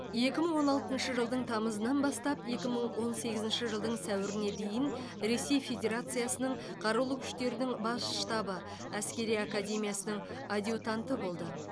екі мың он алтыншы жылдың тамызынан бастап екі мың он сегізінші жылдың сәуіріне дейін ресей федерациясының қарулы күштердің бас штабы әскери академиясының адъютанты болды